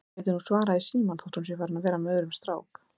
Hún gæti nú svarað í símann þótt hún sé farin að vera með öðrum strák